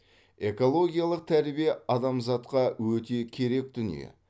экологиялық тәрбие адамзатқа өте керек дүние